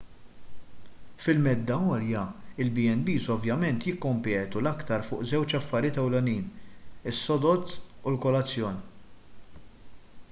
fil-medda għolja il-b&bs ovvjament jikkompetu l-aktar fuq żewġ affarijiet ewlenin: is-sodod u l-kolazzjon